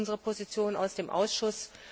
Sie kennen unsere Position aus dem Ausschuss.